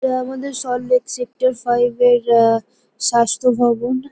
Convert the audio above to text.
এটা আমাদের Salt Lake sector five -এর আ স্বাস্থ্য ভবন।